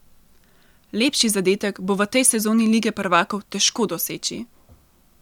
Lepši zadetek bo v tej sezoni Lige prvakov težko doseči!